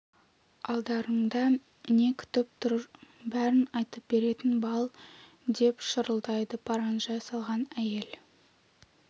алдарыңда не күтіп тұр бәрін айтып беретін бал деп шырылдайды паранжа салған әйел